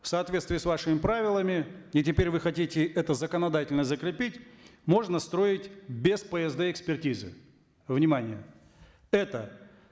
в соответствии с вашими правилами и теперь вы хотите это законодательно закрепить можно строить без псд экспертизы внимание это